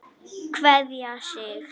Kveðja, Siggi.